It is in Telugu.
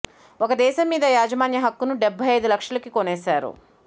ఒక దేశం మీద యాజమాన్య హక్కును డెబ్భై అయిదు లక్షలకి కొనేశారు